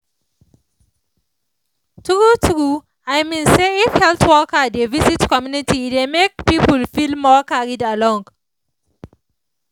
true true i mean say if health workers dey visit community e dey make people feel more carried along